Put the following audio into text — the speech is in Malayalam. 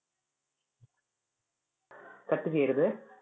cut ചെയ്യരുതേ.